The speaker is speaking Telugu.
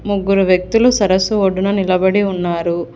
ముగ్గురు వ్యక్తులు సరస్సు ఒడ్డున నిలబడి ఉన్నారు.